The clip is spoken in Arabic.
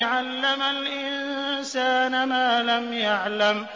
عَلَّمَ الْإِنسَانَ مَا لَمْ يَعْلَمْ